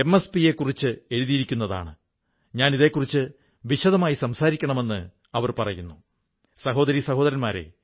അവിടത്തെ ഗ്രാമത്തിൽ പുസ്തകാലയമില്ലെന്ന് ഇവിടത്തെ മീനാ ഗുരുംഗിനും ദിവാംഗ് ഹോസാഇക്കും മനസ്സിലായപ്പോൾ അവർ അതിനുള്ള സാമ്പത്തികസഹായം നൽകി